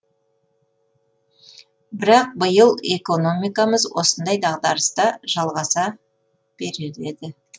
бірақ биыл экономикамыз осындай дағдарыста жалғаса береді